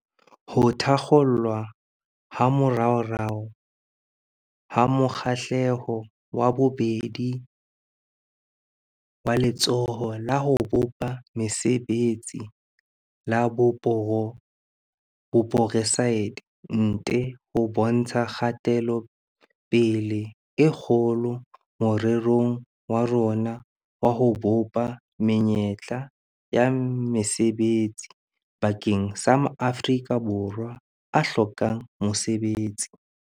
Ho thakgolwa ha moraorao ha mo kgahlelo wa bobedi waLetsholo la ho Bopa Mesebetsi la Boporeside nte ho bontsha kgatelopele e kgolo morerong wa rona wa ho bopa menyetla ya mesebetsi bakeng sa ma Afrika Borwa a hlokang mosebetsi.